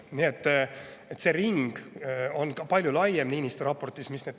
See teemadering on palju laiem Niinistö raportis.